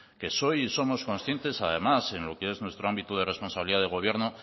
que soy y somos conscientes además en lo que es nuestro ámbito de responsabilidad de gobierno